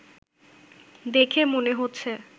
দেখে মনে হচ্ছে